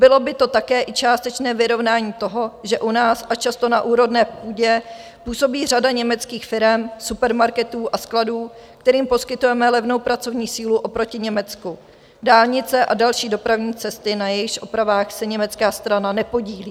Bylo by to také i částečné vyrovnání toho, že u nás, a často na úrodné půdě, působí řada německých firem, supermarketů a skladů, kterým poskytujeme levnou pracovní sílu oproti Německu, dálnice a další dopravní cesty, na jejichž opravách se německá strana nepodílí.